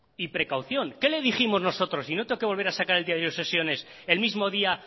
y precaución qué le dijimos nosotros y no tengo que volver a sacar el diario de sesiones el mismo día